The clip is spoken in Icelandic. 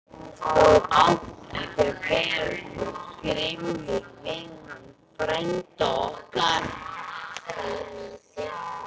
Þú átt ekki vera svona grimmur við hann frænda okkar!